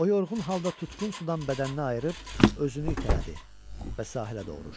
O yorğun halda tutqun sudan bədənnə ayırıb özünü itələdi və sahilə doğru uçdu.